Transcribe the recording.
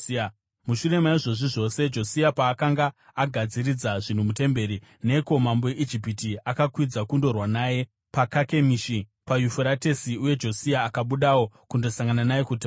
Mushure maizvozvi zvose, Josia paakanga agadziridza zvinhu mutemberi, Neko mambo weIjipiti, akakwidza kundorwa naye paKakemishi paYufuratesi, uye Josia akabudawo kundosangana naye kuti varwe.